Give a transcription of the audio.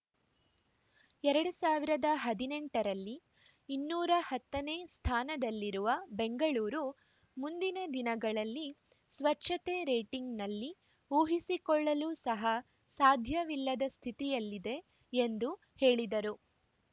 ಎರಡ್ ಸಾವಿರದ ಹದಿನೆಂಟರಲ್ಲಿ ಇನ್ನೂರ ಹತ್ತನೇ ಸ್ಥಾನದಲ್ಲಿರುವ ಬೆಂಗಳೂರು ಮುಂದಿನ ದಿನಗಳಲ್ಲಿ ಸ್ವಚ್ಛತೆ ರೇಟಿಂಗ್‌ನಲ್ಲಿ ಊಹಿಸಿಕೊಳ್ಳಲು ಸಹ ಸಾಧ್ಯವಿಲ್ಲದ ಸ್ಥಿತಿಯಲ್ಲಿದೆ ಎಂದು ಹೇಳಿದರು